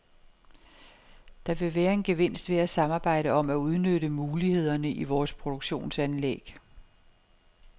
Der vil være en gevinst ved at samarbejde om at udnytte mulighederne i vores produktionsanlæg.